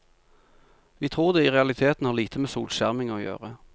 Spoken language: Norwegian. Vi tror det i realiteten har lite med solskjerming å gjøre.